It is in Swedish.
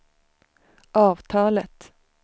avtalet